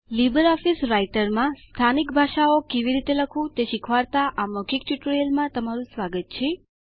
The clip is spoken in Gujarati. લીબર ઓફીસ રાઈટરમાં સ્થાનિક ભાષાઓ કેવી રીતે લખવું તે શીખવાડતા આ મૌખિક ટ્યુટોરીયલમાં તમારું સ્વાગત છે